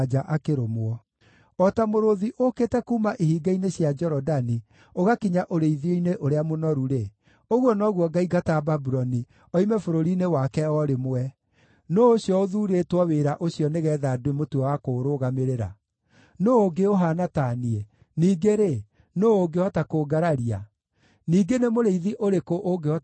O ta mũrũũthi ũũkĩte kuuma ihinga-inĩ cia Jorodani ũgakinya ũrĩithio-inĩ ũrĩa mũnoru-rĩ, ũguo noguo ngaingata Babuloni, oime bũrũri-inĩ wake o rĩmwe. Nũũ ũcio ũthuurĩtwo wĩra ũcio nĩgeetha ndĩmũtue wa kũũrũgamĩrĩra? Nũũ ũngĩ ũhaana ta niĩ, ningĩ-rĩ, nũũ ũngĩhota kũngararia? Ningĩ nĩ mũrĩithi ũrĩkũ ũngĩhota kũregana na niĩ?”